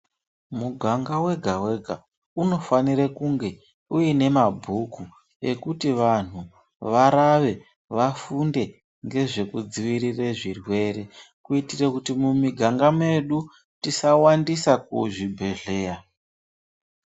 Muganga wega wega unofanire kunge uine mabhuku ekuti vanhu varave vafunde ngezvekudzivirire zvirwere kuitire kuti mumiganga medu tisawandise kuzvibhedhlera .